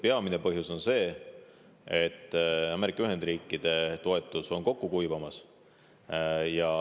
Peamine põhjus on see, et Ameerika Ühendriikide toetus on kokku kuivamas.